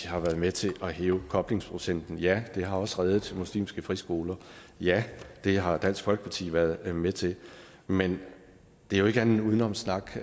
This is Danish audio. har været med til at hæve koblingsprocenten ja det har også reddet muslimske friskoler og ja det har dansk folkeparti været med til men det er jo ikke andet end udenomssnak